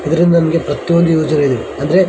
ಇದರಿಂದ ನನಗೆ ಪ್ರತಿಯೊಂದು ಯೂಸ್ ಆಗಿದೆ ಅಂದ್ರೆ --